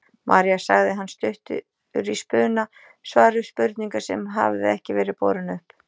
María sagði hann stuttur í spuna, svar við spurningu sem hafði ekki verið borin upp.